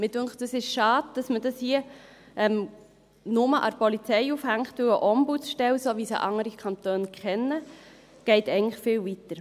Mich dünkt es schade, dass man es hier nur an der Polizei aufhängt, da eine Ombudsstelle, so wie sie andere Kantone kennen, eigentlich viel weitergeht.